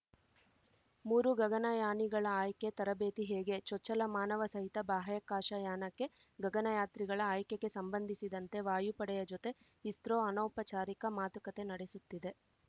ಮೂರು ಗಗನಯಾನಿಗಳ ಆಯ್ಕೆ ತರಬೇತಿ ಹೇಗೆ ಚೊಚ್ಚಲ ಮಾನವಸಹಿತ ಬಾಹ್ಯಾಕಾಶ ಯಾನಕ್ಕೆ ಗಗನಯಾತ್ರಿಗಳ ಆಯ್ಕೆಗೆ ಸಂಬಂಧಿಸಿದಂತೆ ವಾಯುಪಡೆಯ ಜೊತೆ ಇಸ್ರೋ ಅನೌಪಚಾರಿಕ ಮಾತುಕತೆ ನಡೆಸುತ್ತಿದೆ